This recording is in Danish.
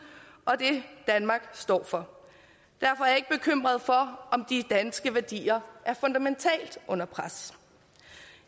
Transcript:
og det danmark står for derfor ikke jeg bekymret for om de danske værdier er fundamentalt under pres